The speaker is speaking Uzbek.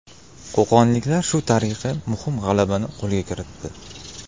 Qo‘qonliklar shu tariqa muhim g‘alabani qo‘lga kiritdi.